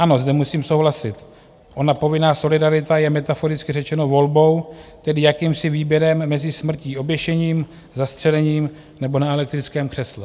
Ano, zde musím souhlasit, ona povinná solidarita je metaforicky řečeno volbou, tedy jakýmsi výběrem mezi smrtí oběšením, zastřelením nebo na elektrickém křesle.